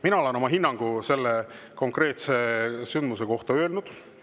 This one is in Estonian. Mina olen oma hinnangu selle konkreetse sündmuse kohta andnud.